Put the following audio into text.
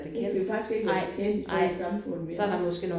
Det kan vi faktisk ikke være bekendt i sådan et samfund vi har